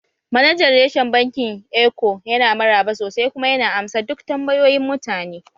Manajan reshen bankin Eco yana maraba sosai kuma yana amsa duk tambayoyin mutane